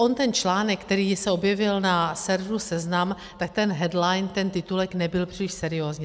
On ten článek, který se objevil na serveru Seznam, tak ten headline, ten titulek, nebyl příliš seriózní.